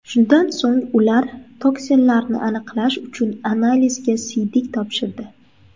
Shundan so‘ng ular toksinlarni aniqlash uchun analizga siydik topshirdi.